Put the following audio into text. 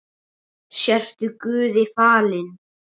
Sértu guði falin.